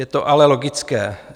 Je to ale logické.